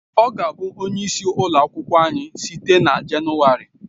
Ọ ga-abụ onye isi ụlọ akwụkwọ anyị site na Jenụwarị